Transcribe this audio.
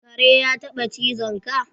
Kare yataba cizon ka?